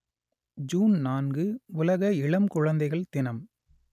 June நான்கு உலக இளம் குழந்தைகள் தினம்